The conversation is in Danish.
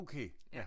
Okay ja